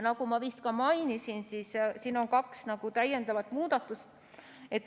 Nagu ma vist ka mainisin, on siin kaks täiendavat muudatust.